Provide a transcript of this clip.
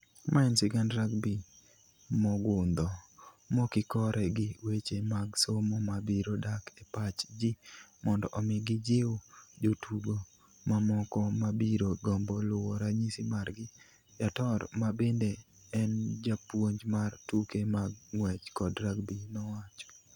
"Ma en sigand rugby mogundho mokikore gi weche mag somo ma biro dak e pach ji mondo omi gijiw jotugo mamoko ma biro gombo luwo ranyisi margi," Yator, ma bende en japuonj mar tuke mag ng'wech kod rugby, nowacho.